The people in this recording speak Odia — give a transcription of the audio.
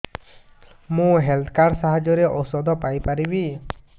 ମୁଁ ହେଲ୍ଥ କାର୍ଡ ସାହାଯ୍ୟରେ ଔଷଧ ପାଇ ପାରିବି